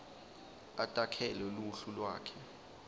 atakhele luhlu lwakhe